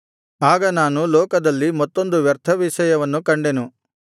ಆಗ ನಾನು ಲೋಕದಲ್ಲಿ ಮತ್ತೊಂದು ವ್ಯರ್ಥ ವಿಷಯವನ್ನು ಕಂಡೆನು